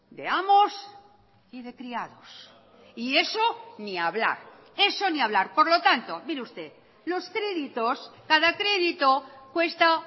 de amos y de criados y eso ni hablar eso ni hablar por lo tanto mire usted los créditos cada crédito cuesta